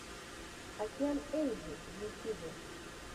океан ельзи в ютюбе